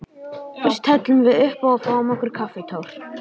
Fyrst hellum við uppá og fáum okkur kaffitár.